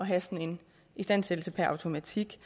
have sådan en istandsættelse per automatik